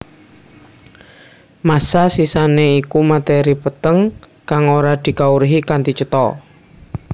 Massa sisané iku matèri peteng kang ora dikawruhi kanthi cetha